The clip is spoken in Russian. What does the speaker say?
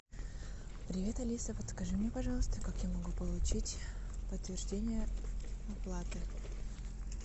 привет алиса подскажи мне пожалуйста как я могу получить подтверждение оплаты